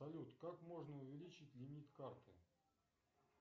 салют как можно увеличить лимит карты